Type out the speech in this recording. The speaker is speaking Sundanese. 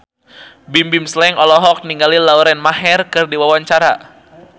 Bimbim Slank olohok ningali Lauren Maher keur diwawancara